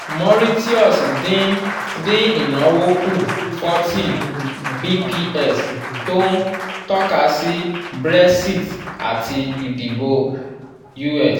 mauritius dín dín ìnáwó kù 40 bps tó ń tọ́ka sí brexit àti ìdìbò us